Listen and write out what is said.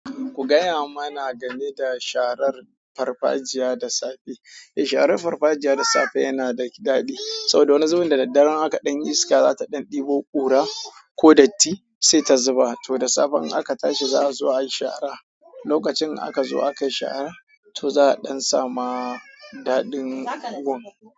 Ku gaya mana game da sharar farfajiya da safe. Eh, sharar farfajiya da safe yana da daɗi saboda wani zubin da daddare in akayi ɗan iska zata ɗan ɗebo ƙura ko datti sai ta zuba. To da safe in aka tashi za a zo ayi shara. Lokacin in aka zo aka yi shara to za a ɗan samu daɗin gun.